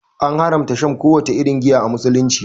An haramta shan kowace irin giya a Musulunci.